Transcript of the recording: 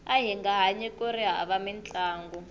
ahinga hanyi kuri hava mintlangu